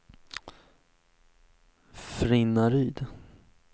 Frinnaryd